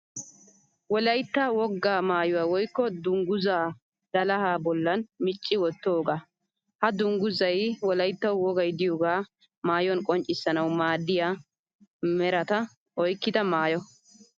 Wolayitta wogaa mayyuwa woyikko dungguzzaa dalahaa bollan micci wottoogaa. Ha dungguzzay wolayittawu wogay diyoogaa mayyuwan qonccissanawu maaddiya merata oyikkida mayyo.